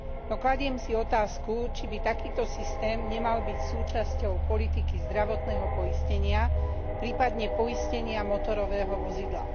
No kladiem si otázku, či by takýto systém nemal byť súčasťou politiky zdravotného poistenia, prípadne poistenia motorového vozidla.